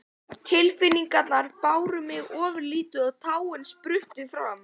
Tilfinningarnar báru mig ofurliði og tárin spruttu fram.